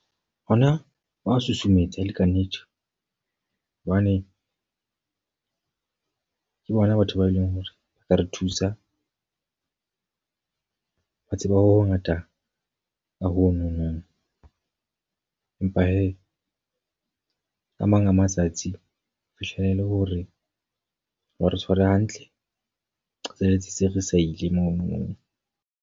Hona wa ho susumetsa e le ka nnete. Hobane ke bona batho bao e leng hore ba ka re thusa. Ba tseba ho ho ngata ka ho no nong. Empa he a mang a matsatsi ho fihlela e le hore wa re tshwara hantle. Re qetelletse se re sa ile monono.